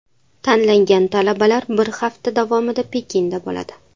Tanlangan talabalar bir hafta davomida Pekinda bo‘ladi.